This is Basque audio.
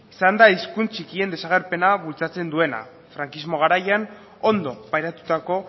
izan da hizkuntz atxikien desagerpena bultzatzen duena frankismo garaian ondo pairatutako